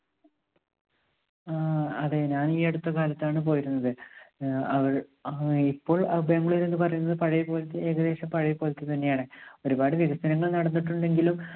ആ, അതെ. ഞാൻ ഈ അടുത്ത കാലത്താണ് പോയിരുന്നത്. അഹ് അഹ് ഇപ്പോൾ ബാംഗ്ലൂർ എന്ന് പറയുന്നത് പഴയപോലത്തെ, ഏകദേശം പഴയപോലത്തെ തന്നെയാണ്. ഒരുപാട് വികസനങ്ങൾ നടന്നിട്ടുണ്ടെങ്കിലും